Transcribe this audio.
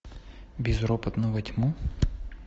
безропотно во тьму